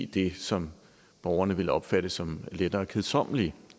det som borgerne vil opfatte som lettere kedsommelige